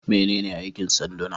Menene aikin sanduna?